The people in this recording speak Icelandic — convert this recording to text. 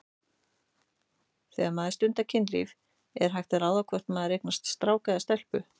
Þegar maður stundar kynlíf er hægt að ráða hvort maður eignast strák eða stelpu?